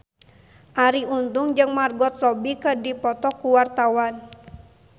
Arie Untung jeung Margot Robbie keur dipoto ku wartawan